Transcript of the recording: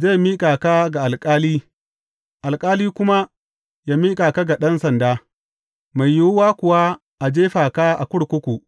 zai miƙa ka ga alƙali, alƙali kuma yă miƙa ka ga ɗan sanda, mai yiwuwa kuwa a jefa ka a kurkuku.